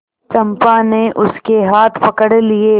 चंपा ने उसके हाथ पकड़ लिए